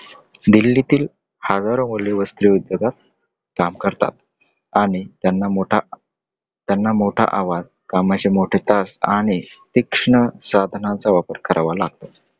दिल्लीतील हजारो मुले वस्त्रोद्योगात काम करतात. आणि त्यांना मोठा आवाज, कामाचे मोठे तास आणि तीक्ष्ण साधनांचा वापर करावा लागतो.